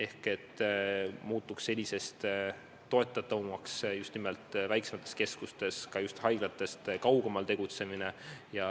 Nii muutuks senisest toetatavamaks just nimelt väiksemates keskustes ja haiglatest kaugemal tegutsemine.